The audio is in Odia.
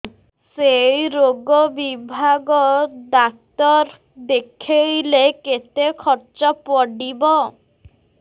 ସେଇ ରୋଗ ବିଭାଗ ଡ଼ାକ୍ତର ଦେଖେଇଲେ କେତେ ଖର୍ଚ୍ଚ ପଡିବ